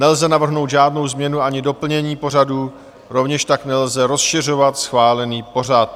Nelze navrhnout žádnou změnu ani doplnění pořadu, rovněž tak nelze rozšiřovat schválený pořad.